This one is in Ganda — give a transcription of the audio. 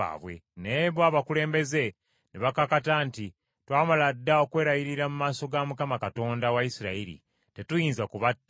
Naye bo abakulembeze ne bakakata nti, “Twamala dda okwerayirira mu maaso ga Mukama Katonda wa Isirayiri, tetuyinza kubatta.